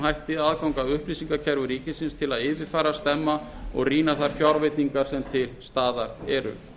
hætti aðgang að upplýsingakerfum ríkisins til að yfirfara stemma eða rýna þær fjárveitingar sem til staðar eru